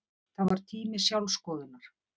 Það var tími sjálfsskoðunar.